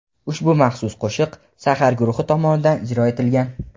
Ushbu maxsus qo‘shiq "Sahar" guruhi tomonidan ijro etilgan.